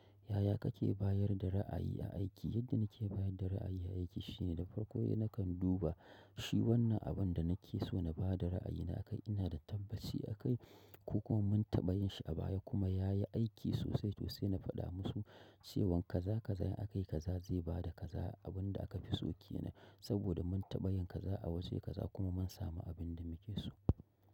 Yaya kake bayar da ra'ayi a aiki? Yadda nike bayar da ra'ayi a aiki shine da farko nakan kan duba shi wannan abunda nake so na bada ra'ayina akai, ina da tabbaci akai ko kuma mun taɓa yin shi a baya kuma yayi aiki sosai to sai na faɗa musu cewan kaza --kaza in akayi kaza zai bada kaza abunda akafi so kenan. Saboda mun taɓa yin kaza a waje kaza kuma mun samu abinda muke so.